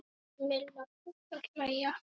Milla fór að hlæja.